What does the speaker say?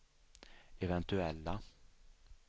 eventuella